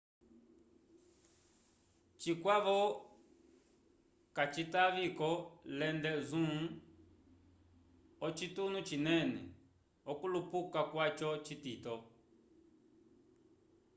cikwavo kacitavi ko lende zoom o cituno cinene okulupuka kwaco citito